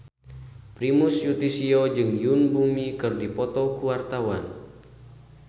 Primus Yustisio jeung Yoon Bomi keur dipoto ku wartawan